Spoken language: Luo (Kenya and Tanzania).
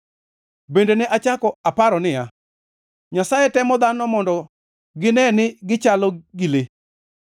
Bende ne achako aparo niya, “Nyasaye temo dhano mondo gine ni gichalo gi le.